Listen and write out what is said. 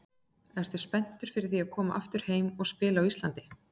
Ertu spenntur fyrir því að koma aftur heim og spila á Íslandi?